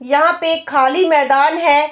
यहाँ पे एक खाली मैदान है।